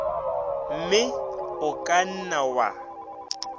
mme o ka nna wa